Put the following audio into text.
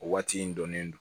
O waati in dɔnnen don